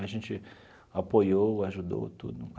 A gente apoiou, ajudou tudo.